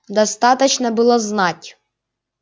достаточно было знать